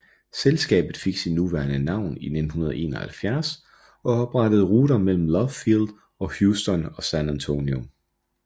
Selskabet fik sit nuværende navn i 1971 og oprettede ruter mellem Love Field og Houston og San Antonio